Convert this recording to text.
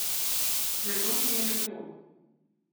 Zelo mi je lepo.